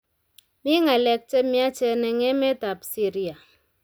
Mi ng'alek che miachen eng emetab Syria.